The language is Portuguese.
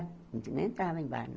A gente nem entrava em bar, não.